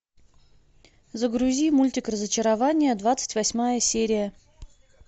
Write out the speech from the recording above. загрузи мультик разочарование двадцать восьмая серия